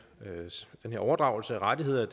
overdragelse af rettigheder